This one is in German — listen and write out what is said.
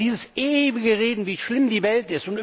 Aber dieses ewige Reden, wie schlimm die Welt!